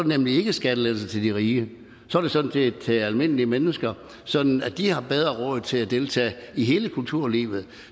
nemlig ikke skattelettelser til de rige så er det sådan set skattelettelser til almindelige mennesker sådan at de har bedre råd til at deltage i hele kulturlivet